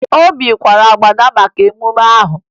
Obi kwara agbada maka mmemme ahụ